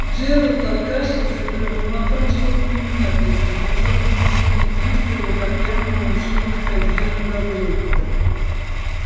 джералд откашлялся и пробормотал что-то невнятное чрезвычайно смущённый тем что его так явно уличили в содеянном добре